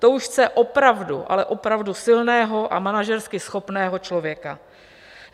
To už chce opravdu, ale opravdu silného a manažersky schopného člověka.